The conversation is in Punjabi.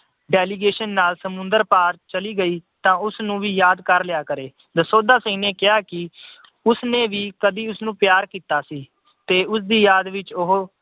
delegation ਨਾਲ ਸਮੁੰਦਰ ਪਾਰ ਚਲੀ ਗਈ ਤਾਂ ਉਸਨੂੰ ਵੀ ਯਾਦ ਕਰ ਲਿਆ ਕਰੇ। ਦਸੌਂਧਾ ਸਿੰਘ ਨੇ ਕਿਹਾ ਕਿ ਉਸਨੇ ਵੀ ਕਦੀ ਉਸਨੂੰ ਪਿਆਰ ਕੀਤਾ ਸੀ ਤੇ ਉਸਦੀ ਯਾਦ ਵਿੱਚ ਉਹ